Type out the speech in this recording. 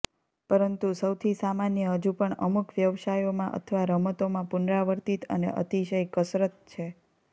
પરંતુ સૌથી સામાન્ય હજુ પણ અમુક વ્યવસાયોમાં અથવા રમતોમાં પુનરાવર્તિત અને અતિશય કસરત છે